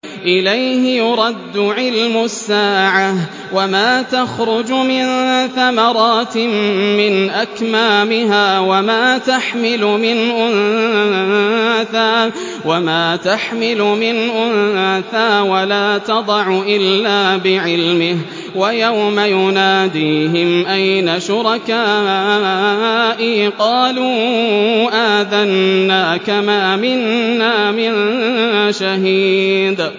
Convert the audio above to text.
۞ إِلَيْهِ يُرَدُّ عِلْمُ السَّاعَةِ ۚ وَمَا تَخْرُجُ مِن ثَمَرَاتٍ مِّنْ أَكْمَامِهَا وَمَا تَحْمِلُ مِنْ أُنثَىٰ وَلَا تَضَعُ إِلَّا بِعِلْمِهِ ۚ وَيَوْمَ يُنَادِيهِمْ أَيْنَ شُرَكَائِي قَالُوا آذَنَّاكَ مَا مِنَّا مِن شَهِيدٍ